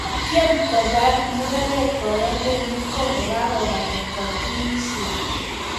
Kotyem kobar mureret boyondenyin kokakobata katunisiet .